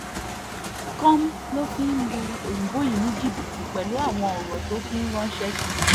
com ló fi ń lu òyìnbó yìí ní jìbìtì pẹ̀lú àwọn ọ̀rọ̀ tó fi ń ránṣẹ́ sí i